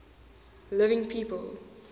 living people